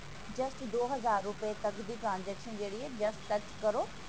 just ਦੋ ਹਜ਼ਾਰ ਰੁਪੇ ਤੱਕ ਦੀ transaction ਜਿਹੜੀ ਹੈ just touch ਕਰੋ